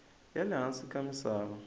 ya le hansi ka misava